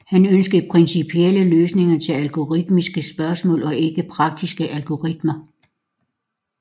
Han ønskede principielle løsninger til algoritmiske spørgsmål og ikke praktiske algoritmer